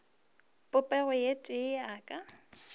popego ye tee ya ka